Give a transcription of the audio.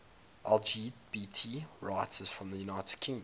lgbt writers from the united kingdom